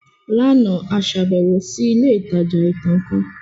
Lánàá, a ṣàbẹ̀wò sí ilé ìtajà ìtàn kan